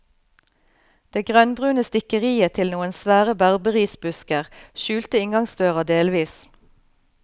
Det grønnbrune stikkeriet til noen svære berberisbusker skjulte inngangsdøra delvis.